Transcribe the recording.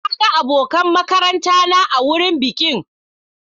Na ga abokan makaranta na a wurin bikin.